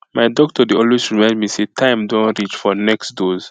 my doctor dey always remind me say time don reach for next dose